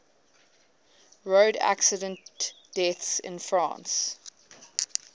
road accident deaths in france